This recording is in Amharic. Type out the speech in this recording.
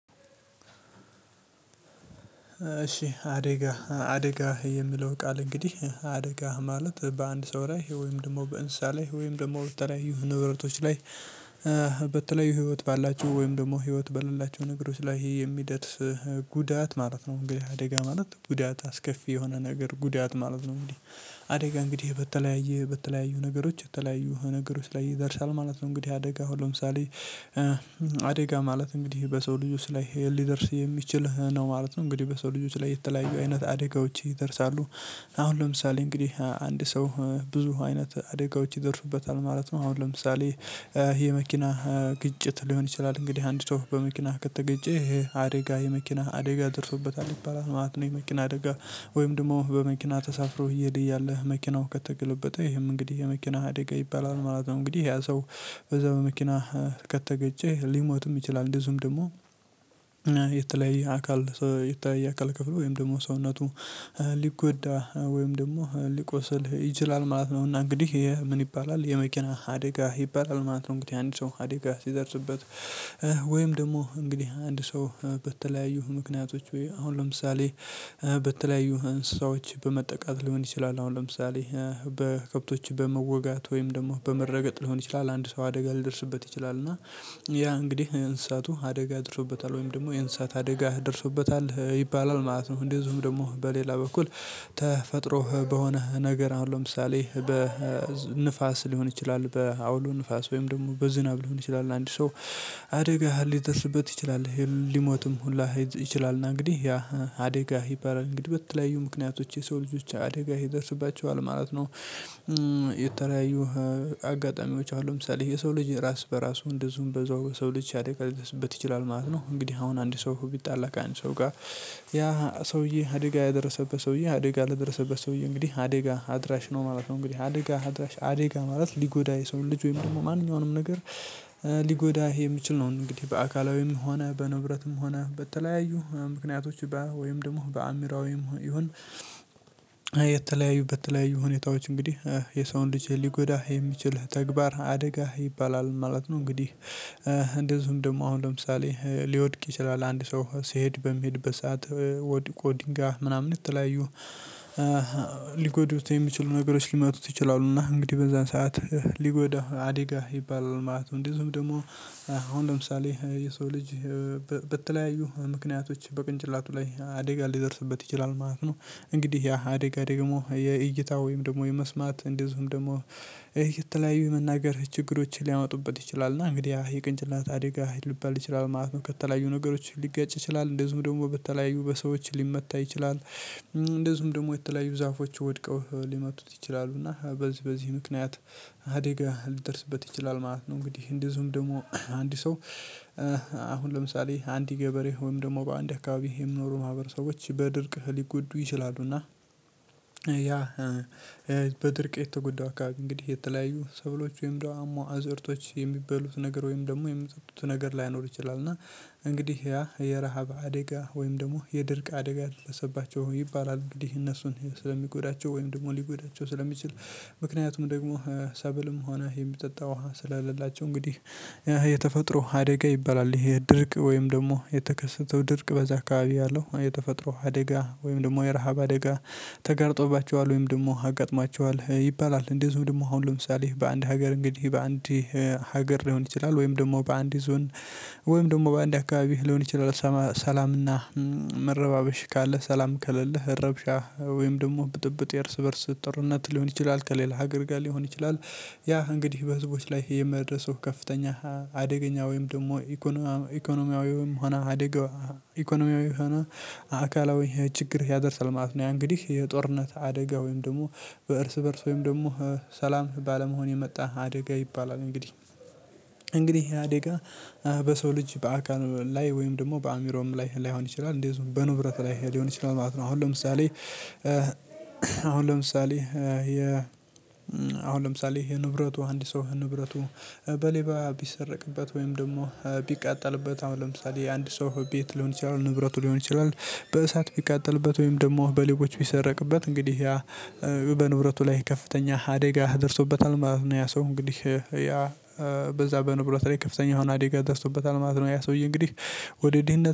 እሺ አደጋ አደጋ የሚለው ቃል እንግዲህ አደጋ ማለት በአንድ ሰው ላይ ወይም ደግሞ በእንስሳ ላይ ወይም ደግሞ በተለያዩ ንብረቶች ላይ። በተለያዩ ህይወት ባላቸው ወይም ደግሞ ህይወት በሌላቸው ነገሮች ላይ ይሄ የሚደርስ ጉዳት ማለት ነው እንግዲህ አደጋ ማለት ጉዳት አስከፊ የሆነ ነገር ጉዳት ማለት ነው እንዴ አደጋ እንግዲህ በተለያየ በተለያዩ ነገሮች የተለያዩ ነገሮች ላይ ይደርሳል ማለት ነው። እንግዲህ አደጋ ለምሳሌ አደጋ ማለት እንግዲህ በሰው ልጆች ላይ ሊደርስ የሚችል ነው ማለት ነው እንግዲህ በሰው ልጆች ላይ የተለያየ አይነት አደጋዎች ይደርሳሉ። አሁን ለምሳሌ እንግዲህ አንድ ሰው ብዙ አይነት አደጋዎች ይደርሱበታል ማለት ነው። አሁን ለምሳሌ ይሄ መኪናህ ግጭት ሊሆን ይችላል እንግዲህ አንድ ሰው በመኪናህ ከጠገጨ አደጋ የመኪና አደጋ ደርሶበታል ይባላል ማለት ነው። የመኪና አደጋ ወይም ደግሞ በመኪና ተሳፍሮ እየሄድህ እያለህ መኪናው ከተገለበጠ ይሄም እንግዲህ የመኪና አደጋ ይባላል ማለት ነው። እንግዲህ ያ ሰው በዛ በመኪና ከተገጨ ሊሞትም ይችላል እንደዚሁም ደግሞ የተለየ አካል የተለየ የአካል ክፍል ወይም ደግሞ ሰውነቱ ሊጎዳ ወይም ደግሞ ሊቆስል ይችላል ማለት ነውና እንግዲህ ምን ይባላል የመኪና አደጋ ይባላል ማለት ነው። እንግዲህ አንድ ሰው አደጋ ሲደርስበት ወይም ደግሞ እንግዲህ አንድ ሰው በተለያዩ ምክንያቶች ወይ አሁን ለምሳሌ በተለያዩ እንስሳዎች በመጠቃት ሊሆን ይችላል አሁን ለምሳሌ በከብቶች በመወጋት ወይም ደግሞ በመረገጥ ሊሆን ይችላል አንድ ሰው አደጋ ሊደርስበት ይችላል እና ያ እንግዲህ እንስሳቱ አደጋ አድርሶበታል ወይም ደግሞ የእንስሳት አደጋ ደርሶበታል ይባላል ማለት ነው። እንደዚሁም ደግሞ በሌላ በኩል ተፈጥሮ በሆነ ነገር አሁን ለምሳሌ በንፋስ ሊሆን ይችላል በአውሎ ንፋስ ወይም ደግሞ በዝናብ ሊሆን ይችላል አንድ ሰው አደጋ ሊደርስበት ይችላል ሊሞትም ሁላ ይችላል እና እንግዲህ ያ አደጋ ይባላል እንግዲህ በተለያዩ ምክንያቶች የሰው ልጆች አደጋ ይደርስባቸዋል ማለት ነው። የተለያዩ አጋጣሚዎች አሉ ለምሳሌ የሰው ልጅ ራስ በራሱ እንደዚሁም በዛው በሰው ልጅ አደጋ ሊደርስበት ይችላል ማለት ነው። እንግዲህ አሁን አንድ ሰው ቢጣላ ከአንድ ሰው ጋር ያ ሰውዬ አደጋ ያደረሰበት ሰውዬ አደጋ ለደረሰበት ሰውዬ እንግዲህ አደጋ አድራሽ ነው ማለት ነው። እንግዲህ አደጋ አድራሽ አደጋ ማለት ሊጎዳ የሰውን ልጅ ወይም ደግሞ ማንኛውንም ነገር ሊጎዳ የሚችል ነው እንግዲህ። በአካላዊም ሆነ በንብረትም ሆነ በተለያዩ ምክንያቶች ወይም ደግሞ በአምሮዊም ይሁን የተለያዩ በተለያዩ ሁኔታዎች እንግዲህ የሰውን ልጅ ሊጎዳህ የሚችል ተግባር አደጋ ይባላል ማለት ነው። እንግዲህ እንደዚሁም ደግሞ አሁን ለምሳሌ ሊወድቅ ይችላል አንድ ሰው ስሄድ በሚሄድ በሰአት ወድቆ ድንጋይ ምናምን የተለይዩ ሊጎዱት የሚችሉ ነገሮች ሊመጡት ይችላሉ እና እንግዲህ በዛን ሰዓት ሊጎዳው አደጋ ይባላል ማለት ነው። እንደዚሁም ደግሞ አሁን ለምሳሌ የሰው ልጅ በተለያዩ ምክንያቶች በቅንጭላቱ ላይ አደጋ ሊደርስበት ይችላል ማለት ነው። እንግዲህ ያ አደጋ ደግሞ የእይታ ወይም ደግሞ የመስማት እንደዚሁም ደግሞ የተለያዩ የመናገር ችግሮችን ሊያመጡበት ይችላል እና እንግዲህ የጭንቅላት አደጋ ሊባል ይችላል ማለት ነው። ከተለያዩ ነገሮች ሊጋጭ ይችላል እንደዚሁ ደግሞ በተለያዩ በሰዎች ሊመታ ይችላል እንደዚሁም ደግሞ የተለያዩ ዛፎች ወድቀው ሊመቱት ይችላሉ እና በዚህ በዚህ ምክንያት አደጋ ሊደርስበት ይችላል ማለት ነው። እንግዲህ እንደዚሁም ደግሞ አንድ ሰው አሁን ለምሳሌ አንድ ገበሬ ወይም ደግሞ በአንድ አካባቢ የሚኖሩ ማህበረሰቦች በድርቅ ሊጎዱ ይችላሉና ያ በድርቅ የተጎዳው አከባቢ እንግዲህ የተለያዩ ሰብሎች ወይም ደግሞ አዝእርቶች የሚበሉት ነገር ወይም ደግሞ የሚሰጡት ነገር ላይኖር ይችላል። እና እንግዲህ ያ የረሃብ አደጋ ወይም ደግሞ የድርቅ አደጋ ደረሰባቸው ይባላል እንግዲህ እነሱን ስለሚጎዳቸው ወይም ደግሞ ሊጎዳቸው ስለሚችል ምክንያቱም ደግሞ ሰብልም ሆነ የሚጠጣ ውሃ ስለለላቸው እንግዲህ የተፈጥሮ አደጋ ይባላል። ይሄ ድርቅ ወይም ደግሞ የተከሰተው ድርቅ በዛ አካባቢ ያለው የተፈጥሮ አደጋ ወይም ደግሞ የረሃብ አደጋ ተጋርጦባቸዋል ወይም ደግሞ አጋጥሟቸዋል ይባላል። እንደዚሁ ደግሞ አሁን ለምሳሌ በአንድ ሀገር እንግዲህ በአንድ ሀገር ሊሆን ይችላል ወይም ደግሞ በአንድ ዞን ወይም ደግሞ በአንድ አካባቢ ሊሆን ይችላል። ሰላምና መረባበሽ ካለ ሰላም ከሌለህ ረብሻ ወይም ደግሞ ብጥብጥ የእርስ በእርስ ጦርነት ሊሆን ይችላል ከሌላ ሀገር ጋር ሊሆን ይችላል። ያ እንግዲህ በህዝቦች ላይ የሚያደርሰው ከፍተኛ አደገኛ ወይም ደግሞ ኢኮኖሚያዊውም ሆነ አደጋ ኢኮኖሚያዊው ሆነ አካላዊ ችግር ያደርሳል ማለት ነው። ያ እንግዲህ የጦርነት አደጋ ወይም ደግሞ በእርስ በእርስ ወይም ደግሞ ሰላም ባለመሆን የመጣ አደጋ ይባላል። እንግዲህ እንግዲህ አደጋ በሰው ልጅ በአካል ላይ ወይም ደግሞ በአእምሮውም ላይ ላይሆን ይችላል እንደዚሁም በንብረት ላይ ሊሆን ይችላል ማለት ነው። አሁን ለምሳሌ አሁን ለምሳሌ የ አሁን ለምሳሌ የንብረቱ አንድ ሰው ንብረቱ በሌባ ቢሰረቅበት ወይም ደግሞ ቢቃጠልበት አሁን ለምሳሌ አንድ ሰው ቤት ሊሆን ይችላል ንብረቱ ሊሆን ይችላል በእሳት ቢቃጠልበት ወይም ደግሞ በሌቦች ቢሰረቅበት እንግዲህ ያ በንብረቱ ላይ ከፍተኛ አደጋ ደርሶበታል ማለት ነው። ያ ሰው እንግዲህ ያ በዛ በንብረት ላይ ከፍተኛ የሆነ አደጋ ደርሶበታል ማለት ነው። ያ ሰውዬ እንግዲህ ወደ ድህነት